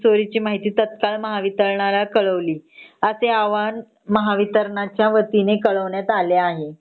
चोरीची माहिती तात्काळ महावितरणला कळवली असे आव्हान महावितरणच्या वतीने कळवण्यात आले आहे .